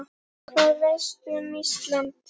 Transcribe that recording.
Hvað veistu um Ísland?